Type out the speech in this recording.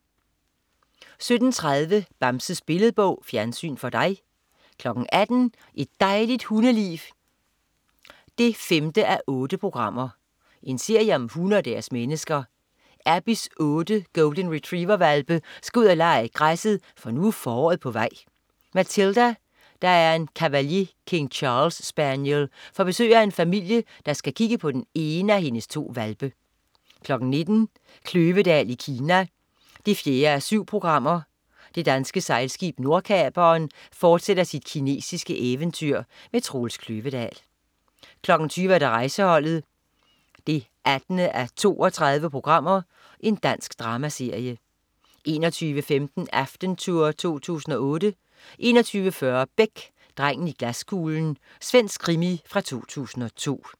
17.30 Bamses Billedbog. Fjernsyn for dig 18.00 Et dejligt hundeliv 5:8. Serie om hunde og deres mennesker. Abbeys otte golden retriever-hvalpe skal ud at lege i græsset, for nu er foråret på vej. Matilda, der er en cavalier king charles-spaniel, får besøg af en familie, der skal kigge på den ene af hendes to hvalpe 19.00 Kløvedal i Kina 4:7. Det danske sejlskib Nordkaperen fortsætter sit kinesiske eventyr. Troels Kløvedal 20.00 Rejseholdet 18:32. Dansk dramaserie 21.15 Aftentour 2008 21.40 Beck. Drengen i glaskuglen. Svensk krimi fra 2002